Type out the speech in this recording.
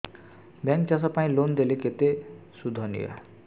bank ଚାଷ ପାଇଁ loan ଦେଲେ କେତେ ସୁଧ ନିଏ